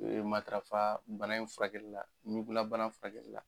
E matafa bana in furakɛ la ɲugulabana furakɛla